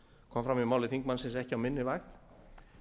kom fram í máli þingmannsins ekki á minni vakt